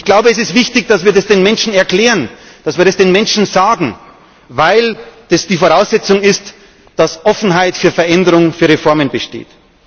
Ich glaube, es ist wichtig, dass wir das den Menschen erklären, dass wir das den Menschen sagen, weil die Voraussetzung ist, dass Offenheit für Veränderung, für Reformen besteht.